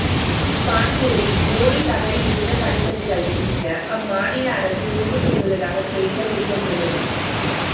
கான்பூரில் மோடி தவறி விழுந்த படிக்கட்டுகளை இடிக்க அம்மாநில அரசு முடிவு செய்துள்ளதாக செய்திகள் வெளிவந்துள்ளது